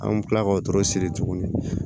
An bɛ tila k'o tɔrɔ siri tuguni